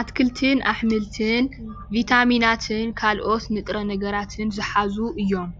አትክልትን አሕምልትን ቢታሚናትን ካልኦት ንጥረ ነገራትን ዝሓዙ እዩም፡፡